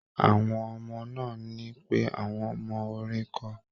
Àwọn ọmọ náà ní pé àwọn mọ orin kọ